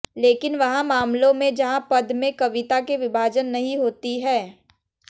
लेकिन वहाँ मामलों में जहां पद में कविता के विभाजन नहीं होती हैं